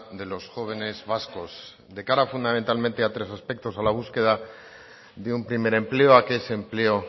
de los jóvenes vascos de cara fundamentalmente a tres aspectos a la búsqueda de un primer empleo a que ese empleo